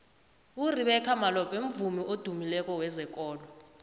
urebecca malope mvumi odymileko wezekolo